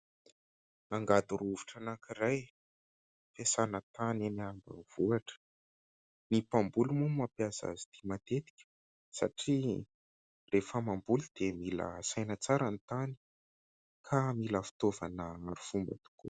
Angady rovitra anankiray, fiasana tany eny ambanivohitra. Ny mpamboly moa no mampiasa azy ity matetika satria rehefa mamboly dia mila asaina tsara ny tany ka mila fitaovana arifomba tokoa.